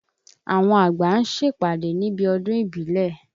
Àwọn àgbà ń ṣèpàdé níbi ọdún ìbílẹ̀.